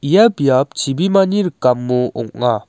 ia biap chibimani rikamo ong·a.